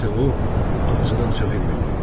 Burda isə o, ağzını aça bilmirdi.